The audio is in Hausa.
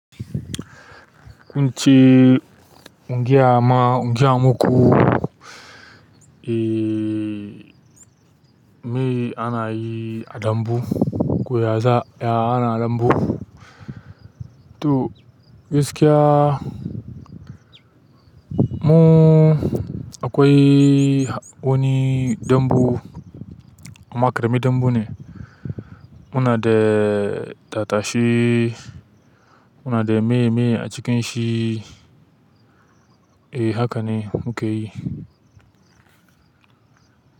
Kun ce ingiyama ingiya muku, eh, mai ana yi a dambu, ku yaza ya ana dambu. To gaskiya mu akwai wani dambu amma kareme dambu ne. Muna de tattashe muna de meme a cikin shi e hakane muke yi.